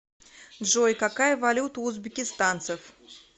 джой какая валюта у узбекистанцев